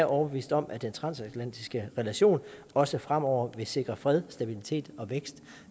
overbevist om at den transatlantiske relation også fremover vil sikre fred stabilitet og vækst